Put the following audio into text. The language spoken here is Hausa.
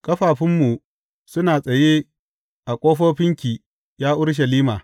Ƙafafunmu suna tsaye a ƙofofinki, ya Urushalima.